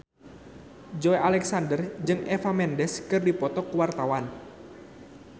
Joey Alexander jeung Eva Mendes keur dipoto ku wartawan